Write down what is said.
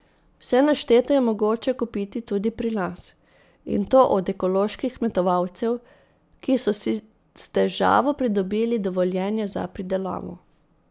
Vse našteto je mogoče kupiti tudi pri nas, in to od ekoloških kmetovalcev, ki so si s težavo pridobili dovoljenja za pridelavo.